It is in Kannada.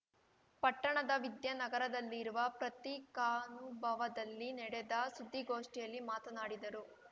ಪಟ್ಟಣದ ವಿದ್ಯಾನಗರದಲ್ಲಿರುವ ಪತ್ರಿಕಾನುಭವದಲ್ಲಿ ನಡೆದ ಸುದ್ದಿಗೋಷ್ಠಿಯಲ್ಲಿ ಮಾತನಾಡಿದರು